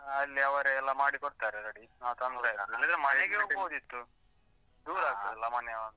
ಅಲ್ಲೇ ಅವರೇ ಎಲ್ಲಾ ಮಾಡಿ ಕೊಡ್ತರೆ ready , ನಾವ್ ತಂದ್ರೆ ಆಯ್ತು . ಆಗ್ತಾದಲ್ಲಾ ಮನೆ ಅವಂದು.